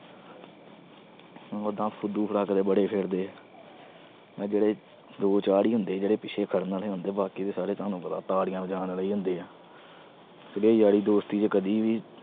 ਓ ਤਾਂ ਫੁਦੂ ਲੱਗਦੇ ਬੜੇ ਫਿਰਦੇ ਆ। ਆਹ ਦੋ-ਚਾਰ ਈ ਹੁੰਦੇ ਆ, ਜਿਹੜੇ ਪਿੱਛੇ ਫਿਰਨ ਵਾਲੇ ਹੁੰਦੇ ਆ। ਬਾਕੀ ਤਾਂ ਤੁਹਾਨੂੰ ਸਾਰੇ ਪਤਾ ਤਾੜੀਆਂ ਵਜਾਉਣ ਵਾਲੇ ਈ ਹੁੰਦੇ ਆ। ਜਿਹੜੇ ਯਾਰੀ ਦੋਸਤੀ ਚ ਕਦੀ ਵੀ